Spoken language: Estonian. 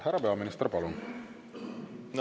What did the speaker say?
Härra peaminister, palun!